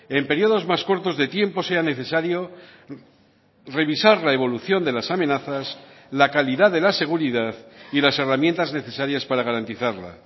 en periodos más cortos de tiempo sea necesario revisar la evolución de las amenazas la calidad de la seguridad y las herramientas necesarias para garantizarla